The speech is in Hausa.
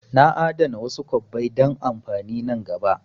Na a'dana wasu kwabbai don amfani nan gaba